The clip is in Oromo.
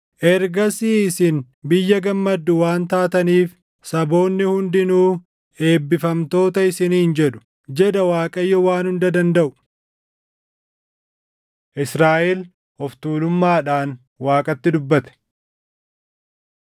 “Ergasii isin biyya gammaddu waan taataniif, saboonni hundinuu eebbifamtoota isiniin jedhu” jedha Waaqayyo Waan Hunda Dandaʼu. Israaʼel Of Tuulummaadhaan Waaqatti Dubbate